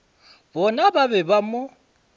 bona ba be ba mo